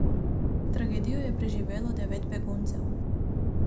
Tragedijo je preživelo devet beguncev.